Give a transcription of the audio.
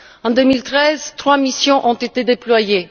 En 2013, trois missions ont été déployées.